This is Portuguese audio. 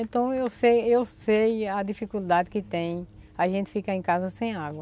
Então, eu sei eu sei a dificuldade que tem a gente ficar em casa sem água.